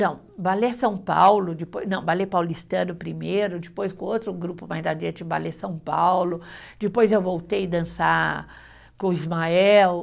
Não, balé São Paulo, depois, não, balé paulistano primeiro, depois com outro grupo mais adiante, balé São Paulo, depois eu voltei dançar com o Ismael.